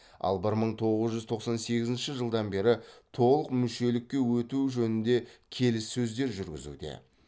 ал бір мың тоғыз жүз тоқсан сегізінші жылдан бері толық мүшелікке өту жөнінде келіссөздер жүргізуде